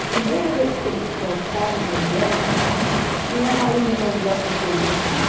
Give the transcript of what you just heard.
A primeira vez que eles plantaram mandioca, uma raiz de mandioca pesou